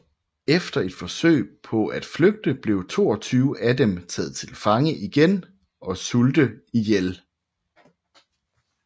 Efter et forsøg på at flygte blev 22 af dem taget til fange igen og sulte ihjel